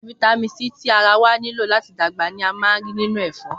Fítámìn tí ara wá nílò láti dàgbà ni a máa ń rí nínú ẹ̀fọ́